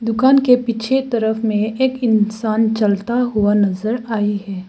दुकान के पीछे तरफ में एक इंसान चलता हुआ नजर आई है।